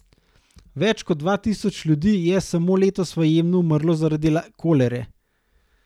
Več kot dva tisoč ljudi je samo letos v Jemnu umrlo zaradi kolere.